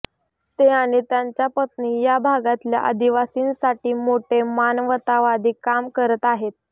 ते आणि त्यांच्या पत्नी या भागातल्या आदिवासींसाठी मोठे मानवतावादी काम करत आहेत